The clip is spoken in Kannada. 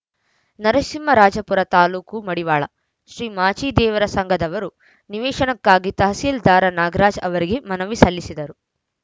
ನರಸಿಂಹರಾಜಪುರ ತಾಲೂಕು ಮಡಿವಾಳ ಶ್ರೀ ಮಾಚಿದೇವರ ಸಂಘದವರು ನಿವೇಶನಕ್ಕಾಗಿ ತಹಸೀಲ್ದಾರ್‌ ನಾಗರಾಜ್‌ ಅವರಿಗೆ ಮನವಿ ಸಲ್ಲಿಸಿದರು